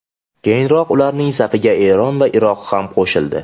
Keyinroq ularning safiga Eron va Iroq ham qo‘shildi.